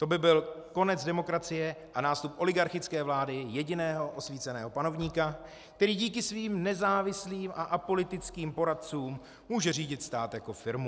To by byl konec demokracie a nástup oligarchické vlády jediného osvíceného panovníka, který díky svým nezávislým a apolitickým poradcům může řídit stát jako firmu.